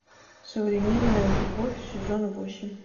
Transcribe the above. современная любовь сезон восемь